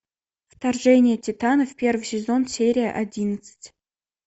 вторжение титанов первый сезон серия одиннадцать